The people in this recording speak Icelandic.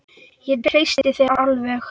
Ég treysti þér alveg!